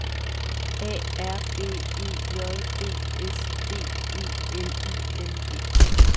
A R B E J D S D E L I N G